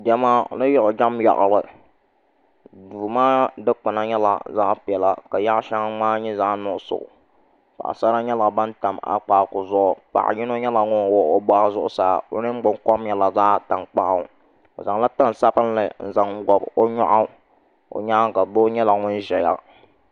Diɛma ni yiɣijɛm yaɣali duu maa dikpuna nyɛla zaɣ piɛla ka yaɣa shɛŋa ŋmaa nyɛ zaɣ nuɣso paɣasara nyɛla ban tam akpaaku zuɣu paɣa yino nyɛla ŋun wuhi o boɣu zuɣusaa o ningbuni kom nyɛla zaɣ tankpaɣu o zaŋla tani sabinli n zaŋ bob o nyoɣu o nyaanga doo nyɛla ŋun ʒɛya